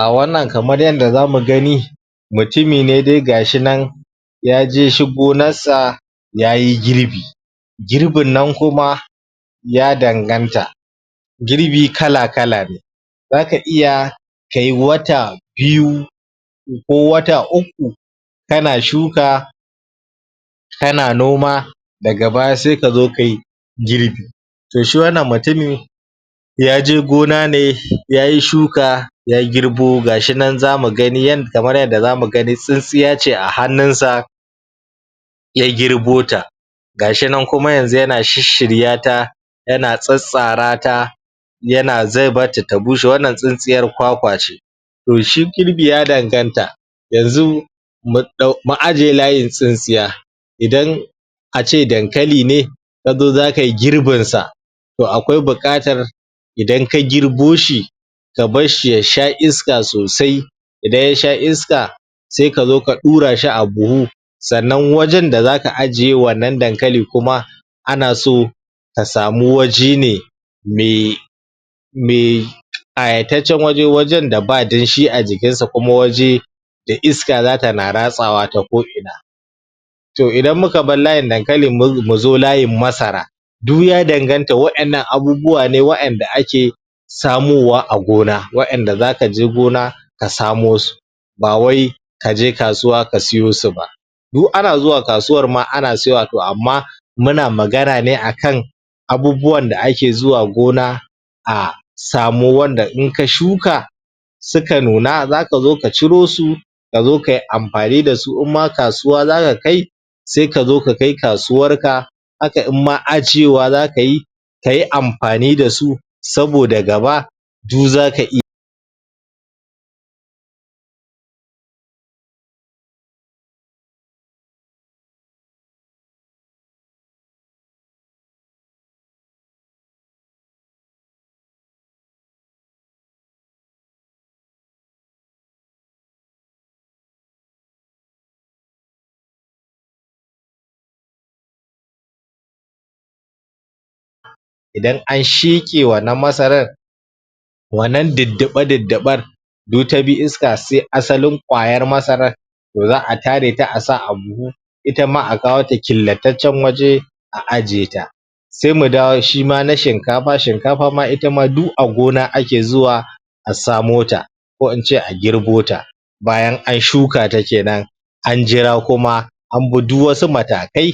A wannan kamar yanda zamu gani mutumi ne dai ga shi nan yaje shi gonar sa yayi girbi girbin nan kuma ya danganta girbi kala-kala ne zaka iya kayi wata biyu ko wata ukku kana shuka kana noma daga baya sai kazo kayi girbi to shi wannan mutumi yaje gona ne yayi shuka ya girbo, ga shi nan zamu gani, kamar yadda zamu gani, tsintsiya ce a hannun sa ya girbo ta ga shi nan kuma yanzu yana shishirya ta yana tsatsara ta yana, zai bar ta ta bushe, wannan tsintsiyar kwakwa ce to shi girbi ya danganta yanzu mun ɗau, mu ajiye layin tsintsiya idan a ce dankali ne ka zo zaka yi girbin sa to akwai buƙatar idan ka girbo shi ka barshi ya sha iska sosai idan ya sha iska sai ka zo ka ɗura shi a buhu sannan wajen da zaka ajiye wannan dankali kuma ana so a samu waje ne me me ƙayataccen waje, wajen da ba damshi a jikin sa, kuma waje da iska zata na ratsawa ta ko'ina to idan muka bar layin dankali, mu zo layin masara duk ya danganta waƴannan abubuwa ne waƴanda ake samowa a gona, waƴanda zaka je gona a samo su ba wai ka je kasuwa ka siyo su ba du ana zuwa kasuwar ma ana siyowa to amma muna magana ne akan abubuwan da ake zuwa gona a samo wanda in ka shuka suka nuna zaka zo ka ciro su ka zo kai amfani da su, in ma kasuwa zaka kai sai ka zo ka kai kasuwar ka aka in ma a cewa zaka yi ta yi amfani da su saboda gaba du zaka iya yi idan an sheƙe wannan masarar wannan diddiɓa diddiɓar du ta bi iska, sai asalin ƙwayar masarar to za'a tare ta a sa a buhu ita ma a kawo ta killataccen waje a ajiye ta sai mu dawo shi ma na shinkafa, shinkafa ma ita ma du a gona ake zuwa a samo ta ko in ce a girbo ta bayan an shuka ta kenan an jira kuma an bi du wasu matakai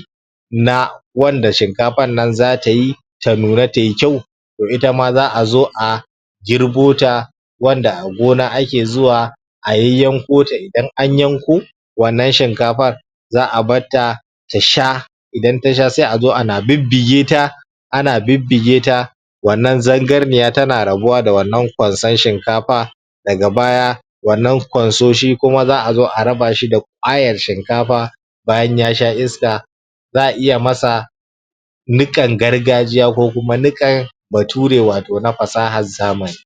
na wanda shinkafan nan zata yi ta nuna tai kyau to ita ma za'a zo a girbo ta wanda a gona ake zuwa a yayyanko ta, idan an yanko wannan shinkafar za'a bar ta ta sha idan ta sha sai a zo ana bibbige ta ana bibbige ta wannan zangarniya tana rabuwa da wannan ƙwanson shinkafa daga baya wannan ƙwansoshi kuma za'a zo a raba shi da ƙwayar shinkafa bayan ya sha iska za'a iya masa niƙan gargajiya ko kuma niƙan bature wato na fasahar zamani.